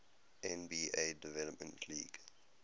nba development league